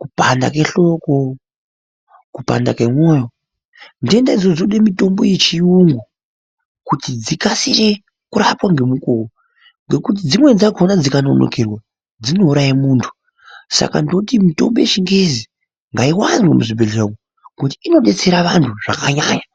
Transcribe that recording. kupanda kwemoyo ,kupanda kwehloko , nhenda idzodzo dzinode mitombo yechiyungu kuti dzikasire kurapwa ngemukuwo ngekuti dzimweni dzakona dzikanonokera dzinouraye muntu saka ndoti mitombo yechingezi ngaiwanzwe muzvibhehleya umwo ngokuti inodetsera vanhu zvakanyanaya.